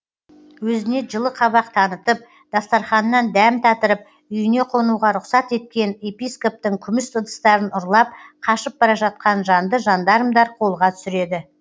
өзіне жылы қабақ танытып дастарханынан дәм татырып үйіне қонуға рұқсат еткен епископтың күміс ыдыстарын ұрлап қашып бара жатқан жанды жандармдар қолға түсіреді